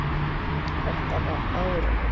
Þetta var á árunum